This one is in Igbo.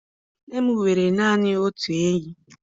Nne m nwere naanị otu enyi.